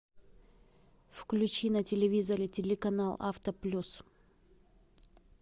включи на телевизоре телеканал авто плюс